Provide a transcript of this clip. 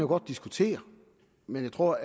godt diskutere men jeg tror